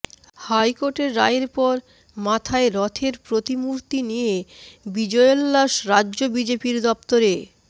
হাইকোর্টের রায়ের পর মাথায় রথের প্রতিমূর্তি নিয়ে বিজয়োল্লাস রাজ্য বিজেপির দফতরে